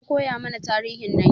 An koyamana tarihin Najeriya